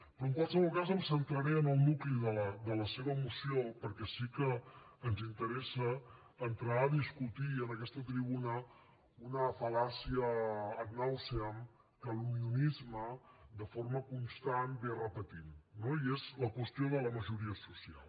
però en qualsevol cas em centraré en el nucli de la seva moció perquè sí que ens interessa entrar a discutir en aquesta tribuna una fal·làcia ad nauseam que l’unionisme de forma constant repeteix no i és la qüestió de la majoria social